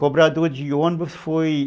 Cobrador de ônibus foi